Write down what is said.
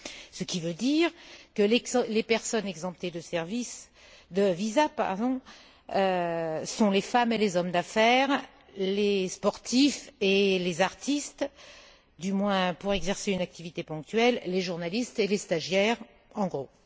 Ce qui veut dire que les personnes exemptées de visa sont les femmes et les hommes d'affaires, les sportifs et les artistes, du moins pour exercer une activité ponctuelle, les journalistes et les stagiaires, en gros.